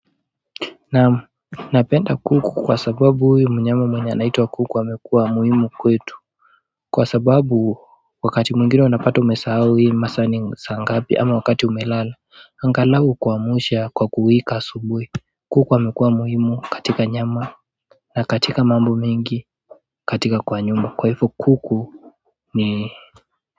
Napenda kuku kwa sababu huyu mnyama mwenye anaitwa kuku amekuwa muhimu kwetu kwa sababu wakati mwingine unapata umesahau hii masaa ni saa ngapi ama wakati umelala angalau ukuamsha kwa kuwika asubuhi. Kuku amekuwa muhimu katika nyama na katika mambo mengi katika kwa nyumba kwa hivyo kuku ni.